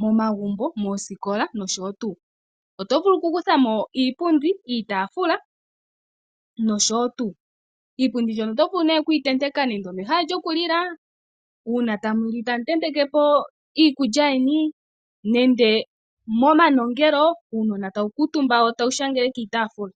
momagumbo, moosikola nosho tuu. Momiti ndhika ohamu vulu oku hongwa iipundi, iitafula nosho tuu, iipundi ohayi ntentekwa mehala lyokulila nuuna aantu ngele taali oko ha ya kantumba, momanongelo uunona ohawu kantumba kiipundi wo tawu shangele kiitafula.